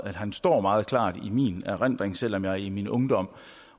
han står meget klart i min erindring selv om jeg i min ungdom